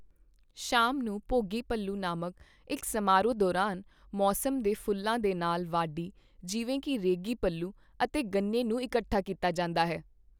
ਸ਼ਾਮ ਨੂੰ, ਭੋਗੀ ਪੱਲੂ ਨਾਮਕ ਇੱਕ ਸਮਾਰੋਹ ਦੌਰਾਨ, ਮੌਸਮ ਦੇ ਫੁੱਲਾਂ ਦੇ ਨਾਲ ਵਾਢੀ ਦੇ ਫ਼ਲ ਜਿਵੇਂ ਕੀ ਰੇਗੀ ਪੱਲੂ ਅਤੇ ਗੰਨੇ ਨੂੰ ਇਕੱਠਾ ਕੀਤਾ ਜਾਂਦਾ ਹੈ।